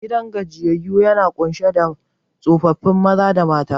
Gidan gajiyyayu yana kunshe da tsofaffi mata da maza